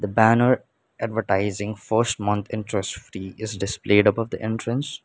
banner advertising first month interest free is displayed above the entrance.